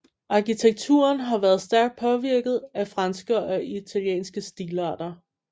Arkitekturen har været stærkt påvirket af franske og italienske stilarter